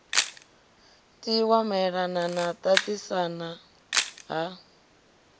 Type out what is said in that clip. tiwa maelana na ṱaṱisana ha